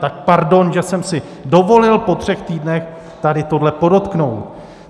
Tak pardon, že jsem si dovolil po třech týdnech tady tohle podotknout.